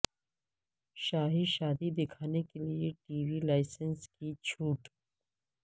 شاہی شادی دکھانے کے لیے ٹی وی لائسنس کی چھوٹ